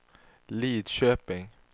Lidköping